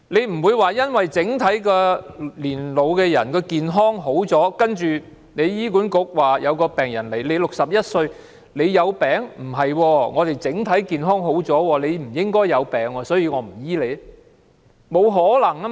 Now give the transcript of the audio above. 不能因為長者整體上較以往健康，有病人到醫管局求診，便說"你61歲不可能生病，長者整體健康較以往佳，不應該生病，所以不會為你治病"。